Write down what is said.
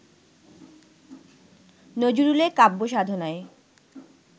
নজরুলের কাব্যসাধনায়